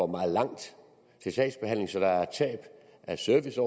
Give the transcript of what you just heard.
meget langt til sagsbehandlingen så der er et tab af service